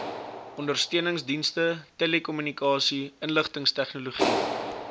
ondersteuningsdienste telekommunikasie inligtingstegnologie